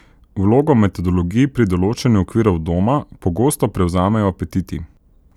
Vlogo metodologij pri določanju okvirov doma pogosto prevzamejo apetiti.